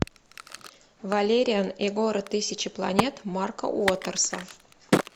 валериан и город тысячи планет марка уотерса